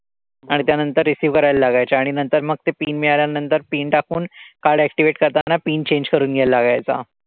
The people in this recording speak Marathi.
आणि त्यानंतर receive करायला लागायच्या. आणि नंतर मग ते PIN मिळाल्यानंतर PIN टाकून card activate करताना PIN change करून घ्यायला लागायचा.